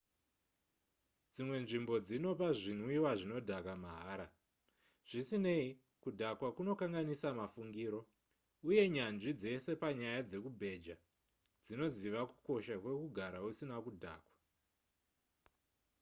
dzimwe nzvimbo dzinopa zvinwiwa zvinodhaka mahara zvisinei kudhakwa kunokanganisa mafungiro uye nyanzvi dzese panyaya dzekubheja dzinoziva kukosha kwekugara usina kudhakwa